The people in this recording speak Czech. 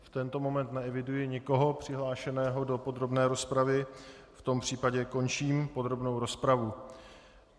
V tento moment neeviduji nikoho přihlášeného do podrobné rozpravy, v tom případě končím podrobnou rozpravu.